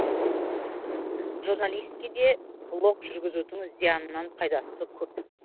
журналистке де блог жүргізудің зиянынан пайдасы көп